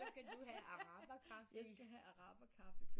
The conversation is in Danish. Så skal du have araber kaffe